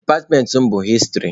Departmentị mụ bụ hịstrị.